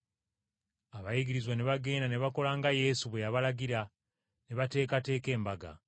Abayigirizwa ne bagenda ne bakola nga Yesu bwe yabalagira ne bateekateeka Okuyitako.